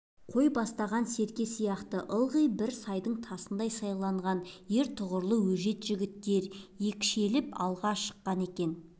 қой бастаған серке сияқты ылғи бір сайдың тасындай сайланған ер тұлғалы өжеті жігіттер екшеліп алға шыққан екен